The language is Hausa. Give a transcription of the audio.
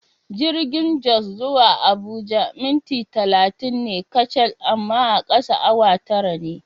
Jirgin Jos zuwa Abuja minti talatin ne kacal amma a kasa awa tara ne.